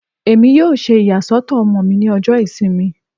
Emi yoo ṣe iyasọtọ ọmọ mi ni ọjọ Isinmi